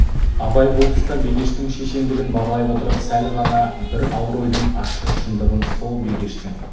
абай бұл тұста бегештің шешендігін бағалай отырып сәл ғана бір ауыр ойдың ащы шындығын со бегештің